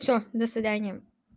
всё до свидания